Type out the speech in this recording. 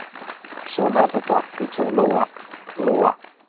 Svona er þetta, hugsaði Lóa-Lóa.